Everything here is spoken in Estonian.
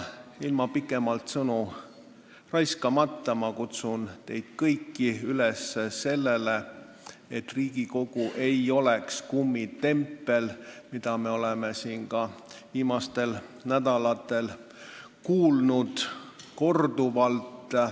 Ilma pikemalt sõnu raiskamata ma kutsun teid üles sellele vastu hakkama, et Riigikogu ei oleks kummitempel, milles süüdistusi me oleme siin ka viimastel nädalatel kuulnud korduvalt.